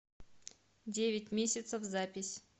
девять месяцев запись